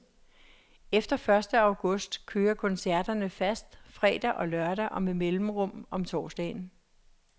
Efter første august kører koncerterne fast fredag og lørdag og med mellemrum om torsdagen.